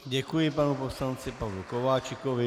Děkuji panu poslanci Pavlu Kováčikovi.